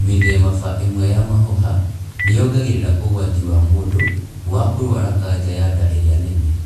Mĩthemaba ĩmwe ya mahũha nĩyongagĩrĩra ũgwati wa mũndũ wa kũrwara kanja ya nda ĩrĩa nene